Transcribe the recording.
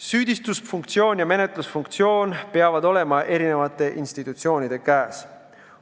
Süüdistusfunktsioon ja menetlusfunktsioon peavad olema eri institutsioonide käes.